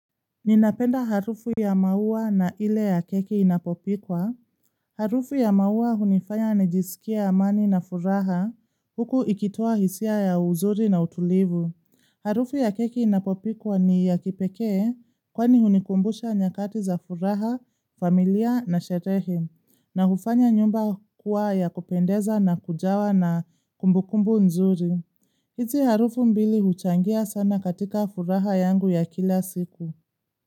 Ninapenda harufu ya maua na ile ya keki inapopikwa. Harufu ya maua hunifanya najisikia amani na furaha huku ikitoa hisia ya uzuri na utulivu. Harufu ya keki inapopikwa ni ya kipekee kwani hunikumbusha nyakati za furaha, familia na sherehe. Na hufanya nyumba kuwa ya kupendeza na kujawa na kumbukumbu nzuri. Hizi harufu mbili huchangia sana katika furaha yangu ya kila siku.